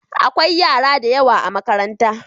Akwai yara da yawa a makarantar.